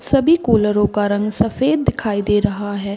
सभी कुलरों का रंग सफ़ेद दिखाई दे रहा है।